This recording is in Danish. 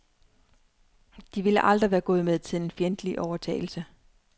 De ville aldrig være gået med til en fjendtlig overtagelse.